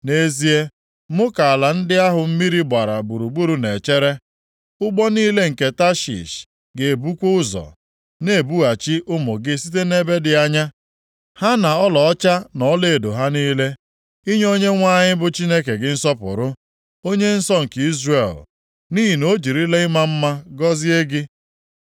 Nʼezie, mụ ka ala ndị ahụ mmiri gbara gburugburu na-echere; ụgbọ niile nke Tashish ga-ebukwa ụzọ, na-ebughachi ụmụ gị site nʼebe dị anya, ha na ọlaọcha na ọlaedo ha niile. Inye Onyenwe anyị bụ Chineke gị nsọpụrụ, Onye nsọ nke Izrel, nʼihi na ọ jirila ịma mma gọzie gị.